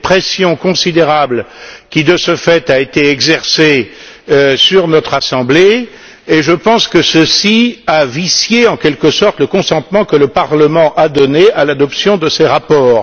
C'est une pression considérable qui de ce fait a été exercée sur notre Assemblée et je pense que ceci a vicié le consentement que le Parlement a donné à l'adoption de ces rapports.